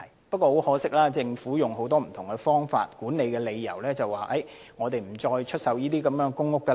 不過，很可惜，政府以管理等為理由表示現時不再出售公屋。